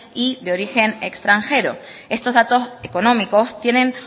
y de origen extranjero estos datos económicos tienen